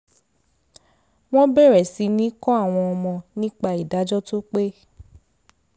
wọ́n bẹ̀rẹ̀ sí ní kọ́ àwọn ọmọ nípa ìdájọ́ tó pé